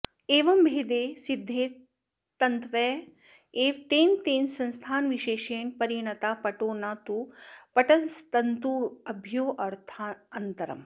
एवमभेदे सिद्धे तन्तव एव तेन तेन संस्थानविशेषेण परिणताः पटो न तु पटस्तन्तुभ्योऽर्थान्तरम्